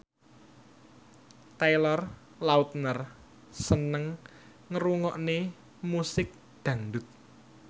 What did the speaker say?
Taylor Lautner seneng ngrungokne musik dangdut